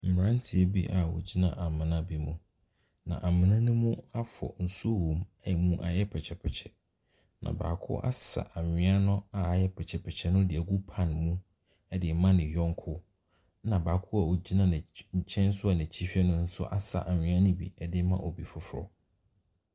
Mmeranteɛ bi a wɔgyina amena bi mu. Na amena no mu afɔ, nsuo wɔ mu, ɛna ayɛ pɛkyɛpɛkyɛ. Na baako asa anwea no a ayɛ pɛkyɛpɛkyɛ no de agu pan mu de rema ne yɔnko, ɛna baako a ɔkyna na'aky ne nkyɛn nso a n'akyi hwɛ no asa anwea anwea no bi de rema obi foforɔ.